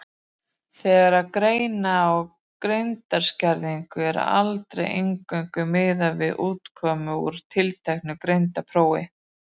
Þegar greina á greindarskerðingu er aldrei eingöngu miðað við útkomu úr tilteknu greindarprófi.